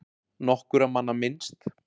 Nokkurra manna minnst